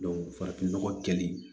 farafin nɔgɔ kɛlen